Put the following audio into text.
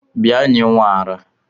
Bia nye nwa ara!!